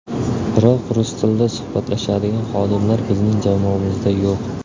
Biroq, rus tilida suhbatlashadigan xodimlar bizning jamoamizda yo‘q.